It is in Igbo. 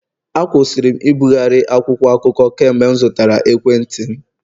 Akwụsịrị m ibugharị akwụkwọ akụkọ kemgbe m zụtara ekwentị m